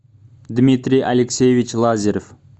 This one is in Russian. дмитрий алексеевич лазарев